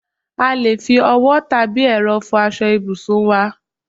A lè fi owó tàbí ẹ̀rọ fò aṣọ ibùsùn wá